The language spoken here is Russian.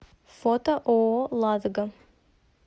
фото ооо ладога